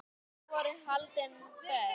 Þar voru haldin böll.